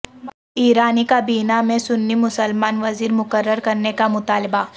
ایرانی کابینہ میں سنی مسلمان وزیر مقرر کرنے کا مطالبہ